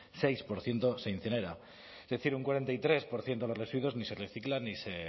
seis por ciento se incinera es decir un cuarenta y tres por ciento de los residuos ni recicla ni se